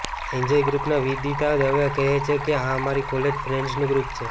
enjoy ગ્રૂપના વિદિતા દવે કહે છે કે આ અમારી કોલેજ ફ્રેન્ડઝનું ગ્રૂપ છે